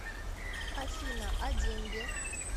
афина а деньги